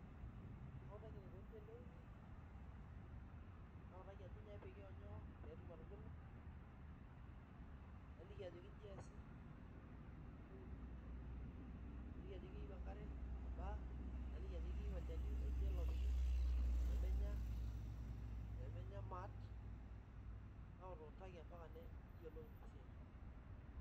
Kautaki enikoni teneuni ,nautaki ajoki nyoo onyoo pee etumoki atubulu .Naliki ajoki inji eesi teneuni, naliki ajoki keyieu enkare nabaa ,naliki ajoki keyieu olchani oje lopiki, pee menya maat nautuutaki mpaka neyiolou ina siai.